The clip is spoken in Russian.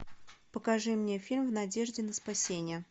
покажи мне фильм в надежде на спасение